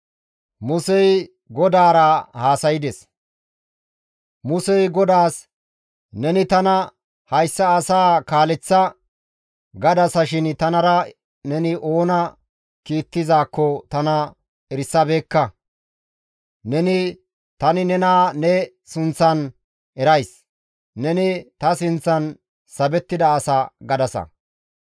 Musey GODAAS, «Neni tana, ‹Hayssa asaa kaaleththa› gadasashin tanara neni oona kiittizaakko tana erisabeekka. Neni, ‹Tani nena ne sunththan erays; neni ta sinththan sabettida asa› gadasa.